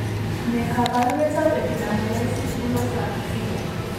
Ne kaabarunetap Epidermolysis bullosa acquisita?